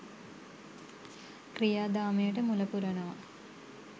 ක්‍රියාදාමයට මුලපුරනවා